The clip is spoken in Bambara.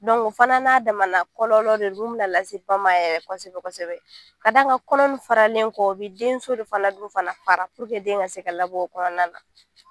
o fana n'a damana kɔlɔlɔ de min bɛna lase ma yɛrɛ kosɛbɛ kosɛbɛ ka d'a kan kɔnɔ in faralen kɔ o bɛ denso de fana dun fana fara den ka se ka labɔ o kɔnɔna na